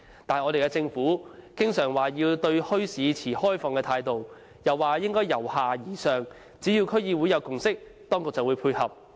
反觀我們的政府經常說對墟市持開放態度，又說應該由下而上，只要區議會有共識，當局就會配合。